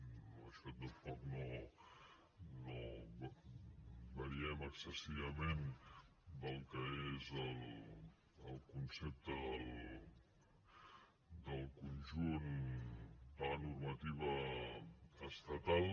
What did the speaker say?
en això tampoc no variem excessivament del que és el concepte del conjunt de la normativa estatal